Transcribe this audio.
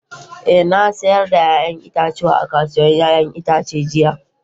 Eh na sayar da 'ya'yan itatuwa a kasuwar 'ya'yan itace jiya.